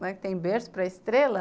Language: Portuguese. Não é que tem berço para estrela